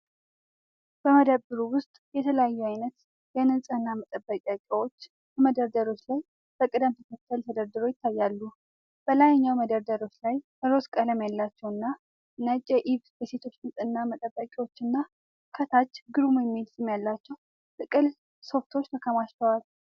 በመደብሩ ውስጥ የተለያዩ አይነት የንፅህና መጠበቂያ ዕቃዎች በመደርደሪያዎች ላይ በቅደም ተከተል ተደርድረው ይታያሉ። በላይኛው መደርደሪያዎች ላይ ሮዝ ቀለም ያላቸውና ነጭ የኢቭ የሴቶች ንፅህና መጠበቂያዎችና፣ ከታች "ግሩም" የሚል ስም ያላቸው ጥቅል ሶፍቶች ተከማችተዋል።